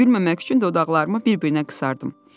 Gülməmək üçün dodaqlarımı bir-birinə qısardım.